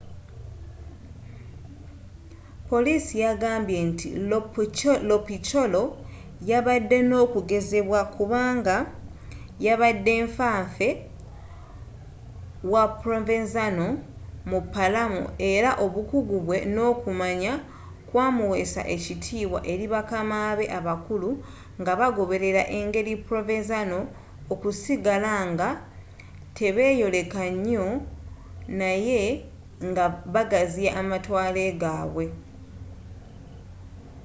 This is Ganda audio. poliisi yagambye nti lo piccolo yabadde n'okugonzebwa kubanga yabadde nfa nfe wa provenzano mu palermo era obukuggu bwe n'okumanya kwamuweesa ekitibwa eri bakama be abakulu nga bagoberera engeri ya provenzano okusigala nga tebeyoleka nyo naye nga bagaziya amatwale gabwe